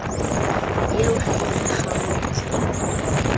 eo ha e ka kgaoletswa